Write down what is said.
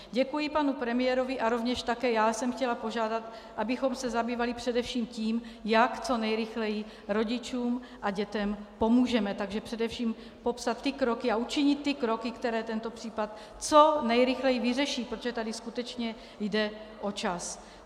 Děkuji panu premiérovi a rovněž také já jsem chtěla požádat, abychom se zabývali především tím, jak co nejrychleji rodičům a dětem pomůžeme, takže především popsat ty kroky a učinit ty kroky, které tento případ co nejrychleji vyřeší, protože tady skutečně jde o čas.